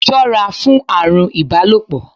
Ṣọ́ra fún àrùn ibalopo!